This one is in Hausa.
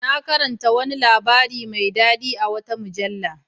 Na karanta wani labari mai dadi a wata mujalla.